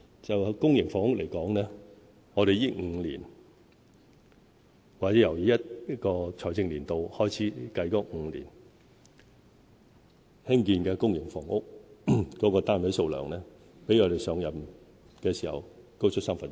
就公營房屋來說，在這5年或由本財政年度開始計算的5年，興建的公營房屋單位數量，比我們上任時高出三分之一。